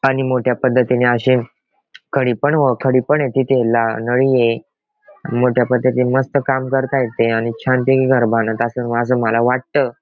आणि मोठ्या पद्धतीने अशे खडी पण खडी पण ये तिथे नळी ये मोठ्या पद्धतीने मस्त काम करतायेत ते आणि छान पैकी घर बांधत असून असं माझं मला वाटत.